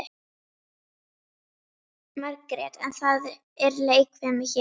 Margrét: En það er leikfimi hér.